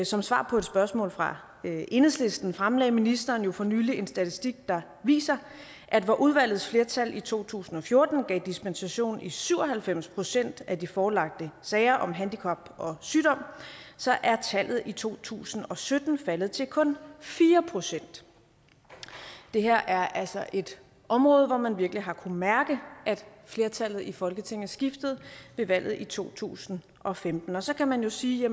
som svar på et spørgsmål fra enhedslisten fremlagde ministeren jo for nylig en statistik der viser at hvor udvalgets flertal i to tusind og fjorten gav dispensation i syv og halvfems procent af de forelagte sager om handicap og sygdom så er tallet i to tusind og sytten faldet til kun fire procent det her er altså et område hvor man virkelig har kunnet mærke at flertallet i folketinget skiftede ved valget i to tusind og femten så kan man jo sige at